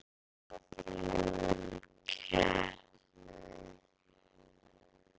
Fram fallið úr keppni